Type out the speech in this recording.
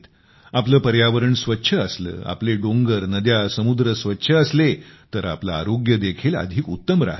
आपले पर्यावरण स्वच्छ असले आपले डोंगर नद्या समुद्र स्वच्छ असले तर आपले आरोग्य देखील अधिक उत्तम राहते